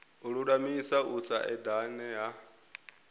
lulamisa u sa edana ha